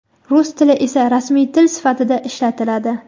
rus tili esa rasmiy til sifatida ishlatiladi.